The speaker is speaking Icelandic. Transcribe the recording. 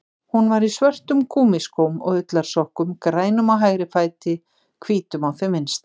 Hún var í svörtum gúmmískóm og ullarsokkum, grænum á hægri fæti, hvítum á þeim vinstri.